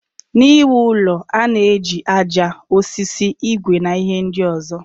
N'iwu ụlọ, a na-eji aja, osisi, igwe na ihe ndị ọzọ.